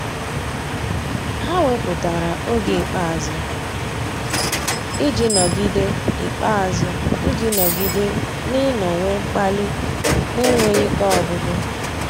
Há wépụ́tara oge ikpeazụ iji nọ́gídé ikpeazụ iji nọ́gídé n’ị́nọ́wé mkpali n’énwéghị́ ike ọ́gwụ́gwụ́.